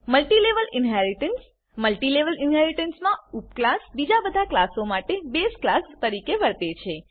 multilevel inheritance multilevel ઇનહેરીટન્સમાં ઉપક્લાસ બીજા બધા ક્લાસો માટે બેઝ ક્લાસ તરીકે વર્તે છે